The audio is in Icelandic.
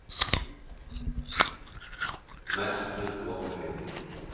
Mestu vonbrigði?????